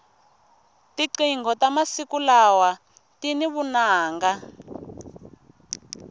tinqingho ta masiku lawa tini vunanga